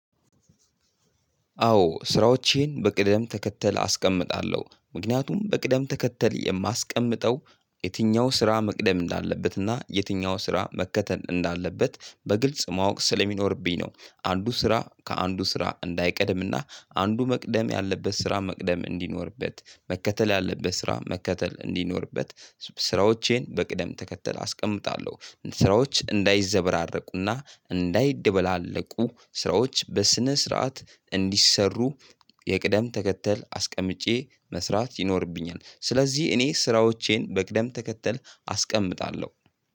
አዎ ስራዎቼን በቅደም ተከተል አስቀምጣለሁ ምክንያቱም በቅደም ተከተል የማስቀምጠው የትኛው ስራ መቅደም እንዳለበት እና የትኛው ስራ መከተል እንዳለበት በግልጽ ማወቅ ስለሚኖርብኝ ነው። አንዱ ስራ ከአንዱ ስራ እንዳይቀድም እና አንዱ መቅደም ያለበት ስራ መቅደም እንዲኖርበት መከተል ያለበት ስራ መከተል እንዲኖርበት ስራዎቼን በቅደም ተከተል አስቀምጣለሁ ስራዎች እንዳይዘበራረቁና እንዳይደበላለቁ ስራዎች በስነ ስርዓት እንዲሰሩ የቅደም ተከተል አስቀምጬ መስራት ይኖርብኛል። ስለዚህ እኔ ስራዎቼን በቅደም ተከተል አስቀምጣለሁ።